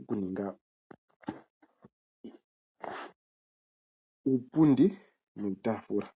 okuninga uupundi nuutaafula.